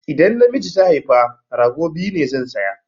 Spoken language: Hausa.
Idan namiji ta haifa, rago biyu ne zan saya